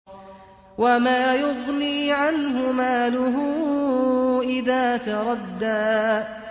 وَمَا يُغْنِي عَنْهُ مَالُهُ إِذَا تَرَدَّىٰ